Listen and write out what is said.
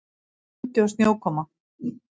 Kuldi og snjókoma